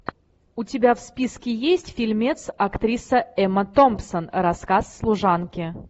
у тебя в списке есть фильмец актриса эмма томсон рассказ служанки